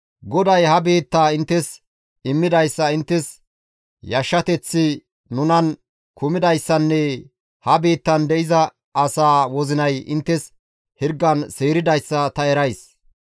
«GODAY ha biittaa inttes immidayssa, inttes yashshateththi nunan kumidayssanne ha biittan de7iza asaa wozinay inttes hirgan seeridayssa ta erays.